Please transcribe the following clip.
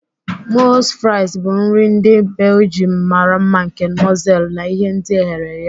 Moules fries bụ nri ndị Belgium mara mma nke mọsel na ihe ndi ehere ehe.